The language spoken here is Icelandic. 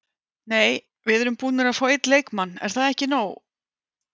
Nei við erum búnir að fá einn leikmann, er það ekki nóg?